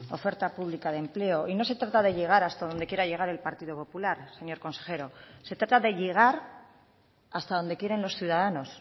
oferta pública de empleo y no se trata de llegar hasta donde quiera llegar el partido popular señor consejero se trata de llegar hasta donde quieren los ciudadanos